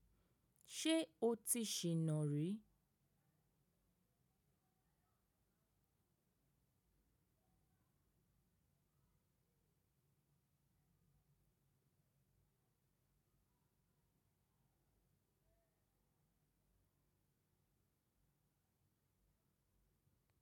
Ṣé o ti ṣìná rí?